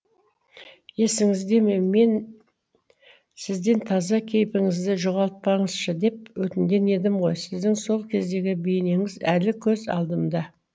есіңізде ме мен сізден таза кейпіңізді жоғалтпаңызшы деп өтінген едім ғой сіздің сол кездегі бейнеңіз әлі көз алдымда